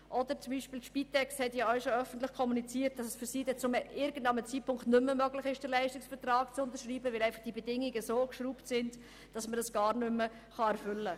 Auch die Spitex hat öffentlich kommuniziert, dass es für sie irgendwann nicht mehr möglich sein wird, den Leistungsvertrag zu unterschreiben, weil die Bedingungen nicht mehr erfüllbar sind.